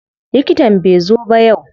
Likitan bai zo ba yau.